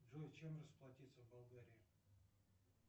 джой чем расплатиться в болгарии